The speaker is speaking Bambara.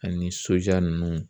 Ani sojɔ ninnu